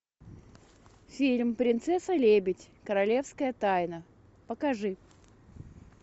фильм принцесса лебедь королевская тайна покажи